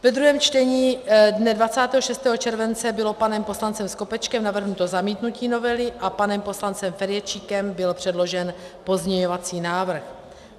Ve druhém čtení dne 26. července bylo panem poslancem Skopečkem navrženo zamítnutí novely a panem poslancem Ferjenčíkem byl předložen pozměňovací návrh.